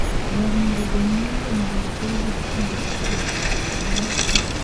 Ber mondo jonyuol limo nyathigi kinde ka kinde e ndalo ma odhi nyime kodongo ei nasari.